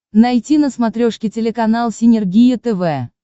найти на смотрешке телеканал синергия тв